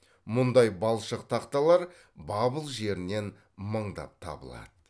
мұндай балшық тақталар бабыл жерінен мыңдап табылады